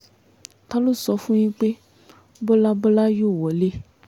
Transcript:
ta ló sọ fún yín pé bọ́lá bọ́lá yóò wọlé